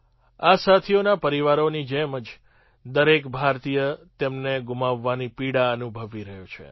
આ સાથીઓના પરિવારોની જેમ જ દરેક ભારતીય તેમને ગુમાવવાની પીડા અનુભવી રહ્યો છે